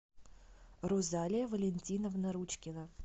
розалия валентиновна ручкина